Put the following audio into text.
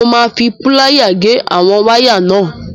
Mo máa fi púlááyà gé àwọn wáyà náà.